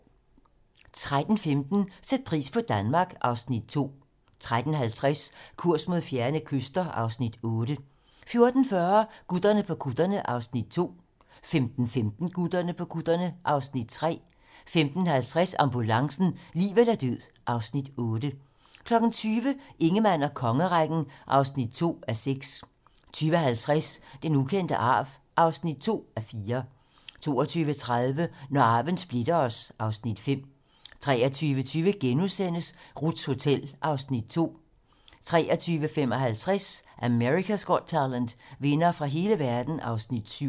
13:15: Sæt pris på Danmark (Afs. 2) 13:50: Kurs mod fjerne kyster (Afs. 8) 14:40: Gutterne på kutterne (Afs. 2) 15:15: Gutterne på kutterne (Afs. 3) 15:50: Ambulancen - liv eller død (Afs. 8) 20:00: Ingemann og kongerækken (2:6) 20:50: Den ukendte arv (2:4) 22:30: Når arven splitter os (Afs. 5) 23:20: Ruths Hotel (Afs. 2)* 23:55: America's Got Talent - vindere fra hele verden (Afs. 7)